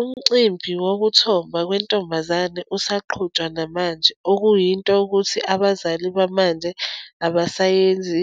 Umcimbi wokuthomba kwentombazane usaqhutshwa namanje, okuyinto yokuthi abazali bamanje abasayenzi